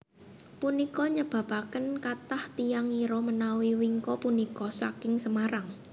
Punika nyebabaken kathah tiyang ngira menawi wingko punika saking Semarang